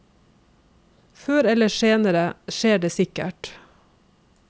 Før eller senere skjer det sikkert.